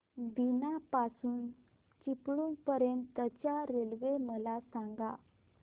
बीना पासून चिपळूण पर्यंत च्या रेल्वे मला सांगा